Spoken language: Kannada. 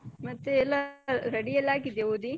ಮತ್ತೆ ಎಲ್ಲ ready ಎಲ್ಲ ಆಗಿದ್ಯಾ ಓದಿ?